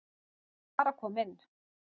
Ég var að koma inn